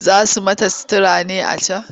Za su yi mata sutura ne a can?